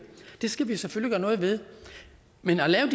det skal vi selvfølgelig gøre noget ved men at lave